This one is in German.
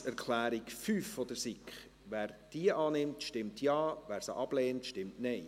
Wer die Planungserklärung 5 der SiK annehmen will, stimmt Ja, wer diese ablehnt, stimmt Nein.